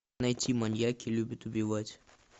найти маньяки любят убивать